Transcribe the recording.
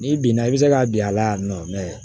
N'i binna i bɛ se ka bin a la yan nɔ